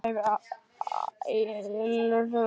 Það hefur einhvern veginn aldrei komið uppá.